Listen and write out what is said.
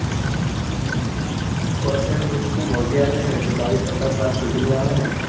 fortuner બઉ મોંઘી આવે છે ને. ચાળીસ પચાસ લાખ સુધી ની આવે ને